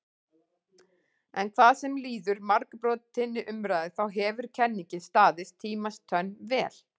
En hvað sem líður margbrotinni umræðu þá hefur kenningin staðist tímans tönn vel.